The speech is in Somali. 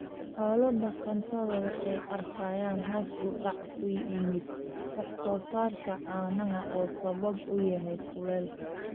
Xoolo dhaqatada waxay arkayaan hoos u dhac ku yimaada wax soo saarka caanaha oo sabab u yahay kuleylka.